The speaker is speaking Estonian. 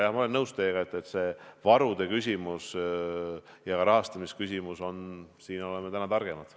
Jah, ma olen nõus, et varude ja ka rahastamise küsimuses oleme täna targemad.